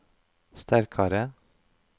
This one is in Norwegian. sterkare